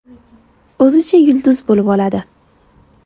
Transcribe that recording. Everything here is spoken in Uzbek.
O‘zicha yulduz bo‘lib oladi.